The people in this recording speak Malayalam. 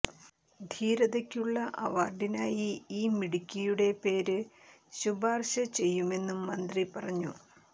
ധീരതയ്ക്കുള്ള അവാര്ഡിനായി ഈ മിടുക്കിയുടെ പേര് ശുപാര്ശ ചെയ്യുമെന്നും മന്ത്രി പറഞ്ഞു